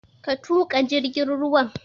Ka tuƙa jirgin ruwan!